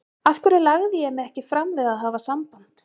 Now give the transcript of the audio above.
Af hverju lagði ég mig ekki fram við að hafa samband?